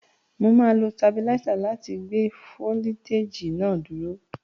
Mà á lo tabiláísà láti gbé foliteji náà dúró.